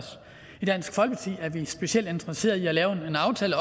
i dansk folkeparti er vi specielt interesseret i også at lave en aftale